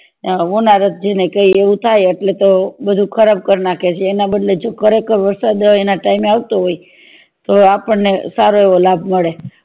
હોનારથ જેને કે એવું થાય એટલે તો બધું ખરાબ કરી નાખે એના બદલે હજુ ખરેખર વરસાદ એના time એ આવતો હોય તો આપણને સારું એવો લાભ મળે